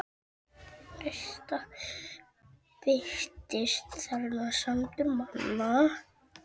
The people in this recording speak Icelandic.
Birtist þarna sandur manna.